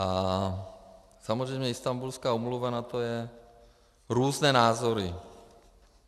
A samozřejmě Istanbulská úmluva, na to jsou různé názory.